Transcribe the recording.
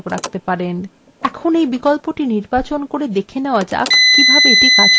এর এই বিকল্পটি নির্বাচন করে দেখে নেওয়া যাক কিভাবে এটি কাজ করে